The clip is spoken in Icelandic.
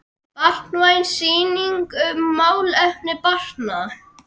Barnvæn sýning um málefni barna.